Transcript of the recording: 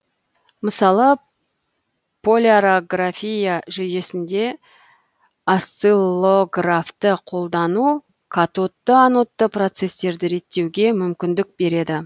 мысалы полярография жүйесінде осциллографты қолдану катодты анодты процестерді реттеуге мүмкіндік береді